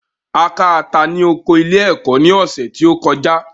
A ká ata ní oko ilé-ẹ̀kọ́ ní ọ̀sẹ̀ tí ó kọjá.